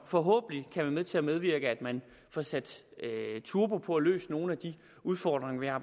forhåbentlig være med til at bevirke at man får sat turbo på og løst nogle af de udfordringer vi har